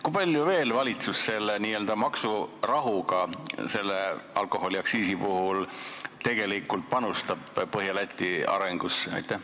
Kui palju valitsus veel selle alkoholiaktsiisi maksurahuga panustab Põhja-Läti arengusse?